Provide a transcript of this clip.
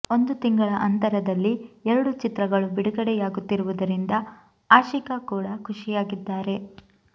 ಒಂದು ತಿಂಗಳ ಅಂತರದಲ್ಲಿ ಎರಡು ಚಿತ್ರಗಳು ಬಿಡುಗಡೆಯಾಗುತ್ತಿರುವುದರಿಂದ ಆಶಿಕಾ ಕೂಡಾ ಖುಷಿಯಾಗಿದ್ದಾರೆ